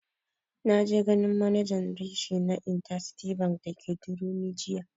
Na je ganin manajan reshe na intercity bank dake durumi jiya